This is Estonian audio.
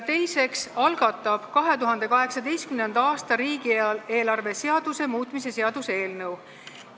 Teiseks algatab valitsus 2018. aasta riigieelarve seaduse muutmise seaduse eelnõu.